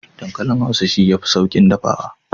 Dankalin hausa shi yafi saukin dafawa.